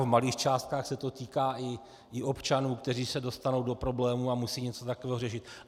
V malých částkách se to týká i občanů, kteří se dostanou do problémů a musí něco takového řešit.